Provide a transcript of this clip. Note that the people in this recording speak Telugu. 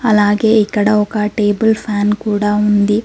అలాగే ఇక్కడ ఒక టేబుల్ ఫ్యాన్ కూడా ఉంది.